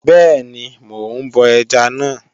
Bẹ́ẹ̀ni, mò ń bọ ẹja náà.